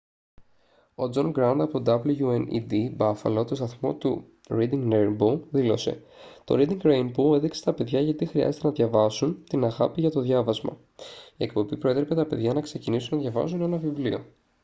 ο τζον γκραντ από το wned buffalo τον σταθμό του reading rainbow δήλωσε: «το reading rainbow έδειξε στα παιδιά γιατί χρειάζεται να διαβάζουν την αγάπη για το διάβασμα - [η εκπομπή] προέτρεπε τα παιδιά να ξεκινήσουν να διαβάζουν ένα βιβλίο»